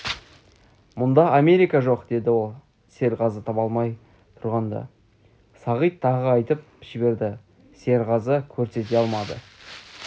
мұнда америка жоқ деді ол серғазы таба алмай тұрғанда сағит тағы айтып жіберді серғазы көрсете алмады